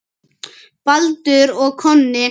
Baldur og Konni